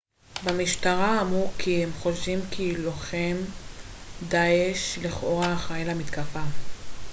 במשטרה אמרו כי הם חושדים כי שלוחם דעאש לכאורה אחראי למתקפה